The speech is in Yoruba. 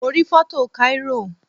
Mo rí foto Cairo